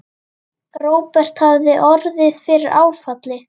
Róbert hafði orðið fyrir áfalli.